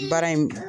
Baara in